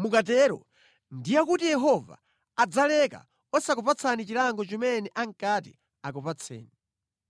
Mukatero ndiye kuti Yehova adzaleka osakupatsani chilango chimene ankati akupatseni.